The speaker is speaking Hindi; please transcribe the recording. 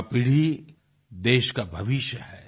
युवा पीढ़ी देश का भविष्य है